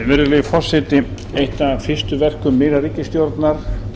virðulegi forseti eitt af fyrstu verkum nýrrar ríkisstjórnar